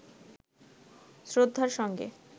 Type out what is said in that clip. শ্রদ্ধার সঙ্গে